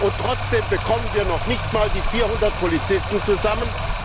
Und trotzdem bekommen wir noch nicht einmal die 400 Polizisten zusammen?